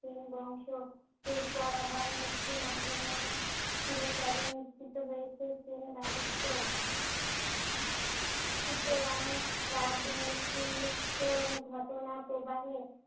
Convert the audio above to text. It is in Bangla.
সেন বংশ। এরপর আবার মুসলিম আক্রমণে চিরতরে নিশ্চিত হয়েছে সেন রাজত্ব। সুতরাং রাজনৈতিক ঘটনাপ্রবাহে